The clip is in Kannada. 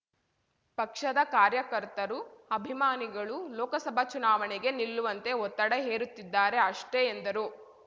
ಪಕ್ಷದ ಕಾರ್ಯಕರ್ತರು ಅಭಿಮಾನಿಗಳು ಲೋಕಸಭಾ ಚುನಾವಣೆಗೆ ನಿಲ್ಲುವಂತೆ ಒತ್ತಡ ಹೇರುತ್ತಿದ್ದಾರೆ ಅಷ್ಟೆ ಎಂದರು